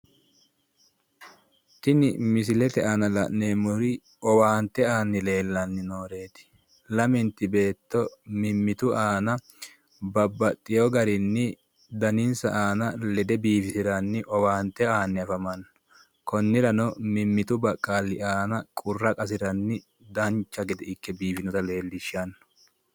Tini misilete aana la'neemmori owaante aanni nooreeti, lamenti beetto mimmittu aana babbaxxewo garinni daninsa aana lede biifisiranni owaante aani afamanno, konniranno mimmitu baqqalli aana qurra qasiranni dancha gede ikke biifinota leellishshanno.